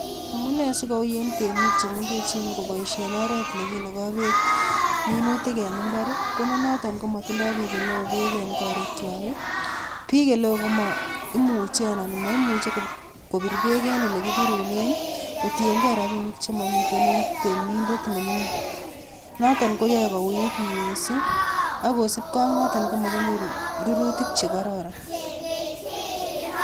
Amune asi kouiy en temik che mengechen koboishen oret ne kinogo beek minutik en mbar ii? Ko ne noton ko motido biiik ele oo beek en korikwag ii, biik ele oo ko moimuche anan moimuche kobir beek en ole kibirunen kotiyen ge rabinik che momiten en temindet ne ming'in. Noton koyoe kouuit mising. Ak kosibge ak noton ko moginyoru rurutik che kororon.